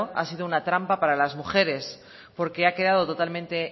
ha sido una trampa para la mujeres porque ha quedado totalmente